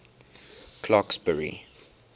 clarksburry